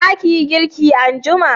za ki yi girki anjima?